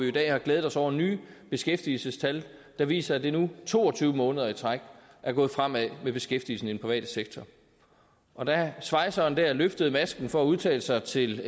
i dag har glædet os over nye beskæftigelsestal der viser at det nu to og tyve måneder i træk er gået fremad med beskæftigelsen i den private sektor og da svejseren løftede masken for at udtale sig til